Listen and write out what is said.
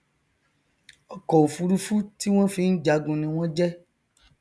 ọkọofurufú ti wọn fi n jagun ní wọn jẹ